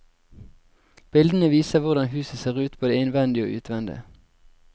Bildene viser hvordan huset ser ut både innvendig og utvendig.